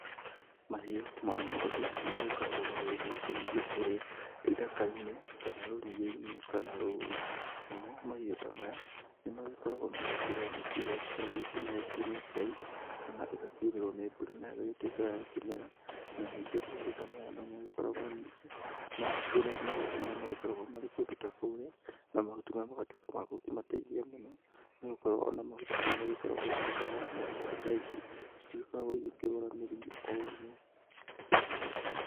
Mahiũ ma ngondu nĩmagĩkoragwo magĩthiĩ gũkĩrĩithio kũrĩa ithaka-inĩ kana rũriĩ-inĩ kana rũũru. Namo mahiũ ta maya nĩmagĩkoragwo magĩkĩrĩa nyeki iria igĩkoragwo ikĩmeeretio nĩ Ngai, na ĩgakiurĩrwo nĩ mbura na ikaya gukĩmera, na ningĩ mahiũ ta maya no magĩkoragwo ningĩ magĩkĩrĩa mahuti marĩa magĩkoragwo mari kũndũ ta kũrĩa , na mahuti maya magatuĩka ma gũkĩmateithia mũno, nĩgũkorwo ona mahuti maya magĩkoragwo ta ndawa na ngondu ta ici citigĩkoragwo igĩkĩrwara mĩrimũ o ũguo.